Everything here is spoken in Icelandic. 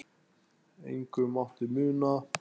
Engu mátti muna.